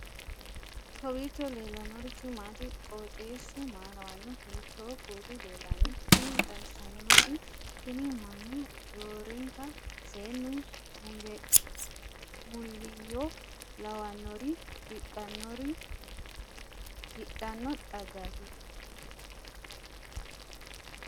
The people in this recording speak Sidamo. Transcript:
kowiicho leellannori maati ? qooxeessu maa lawaanno ? hiitoo kuuli leellanno ? tini xawissannori tini mannu roorenka seennu muliyyeoo lawannori riqqannori hidhanno xaggaati